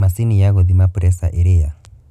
Macini ya kũthima preca irĩ ya?.